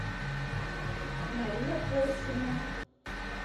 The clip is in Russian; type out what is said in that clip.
мария порсина